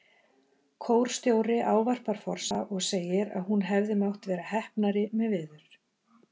Kórstjóri ávarpar forseta og segir að hún hefði mátt vera heppnari með veður.